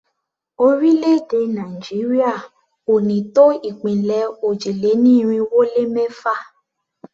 Orílẹ̀-èdè Nàìjíríà ò ní tó ìpínlẹ̀ òjì-lé-ní-irinwó-lé-mẹ́fà.